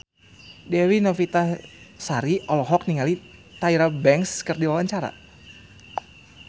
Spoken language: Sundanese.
Dewi Novitasari olohok ningali Tyra Banks keur diwawancara